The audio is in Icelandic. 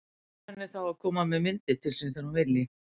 Býður henni þá að koma með myndir til sín þegar hún vilji.